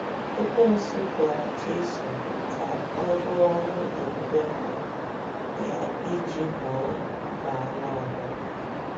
Ekwensu gwara Jesu ka ọ rụọ ọrụ ebube mbụ ya iji gboo mkpa anụ ahụ́.